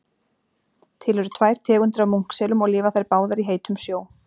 Til eru tvær tegundir af munkselum og lifa þær báðar í heitum sjó.